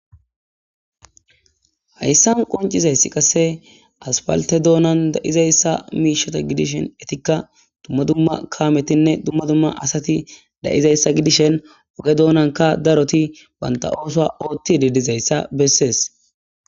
Hayssan qoncizayssi qasse aspalte doonan da'izayssa miishata gidishen etikka dumma dumma kaametinne dumma dumma asati da'izayssa gidishen oge doonanka daroti banta ooso ootti didizayssa bessees.